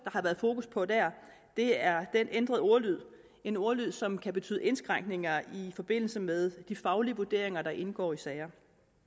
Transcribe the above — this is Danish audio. har været fokus på der er den ændrede ordlyd en ordlyd som kan betyde indskrænkninger i forbindelse med de faglige vurderinger der indgår i sager